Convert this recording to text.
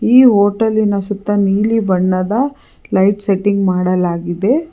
ಈ ಹೊಟೆಲ್ಲಿನ ಸುತ್ತ ನೀಲಿ ಬಣ್ಣದ ಲೈಟ್ ಸೆಟ್ಟಿಂಗ್ ಮಾಡಲಾಗಿದೆ.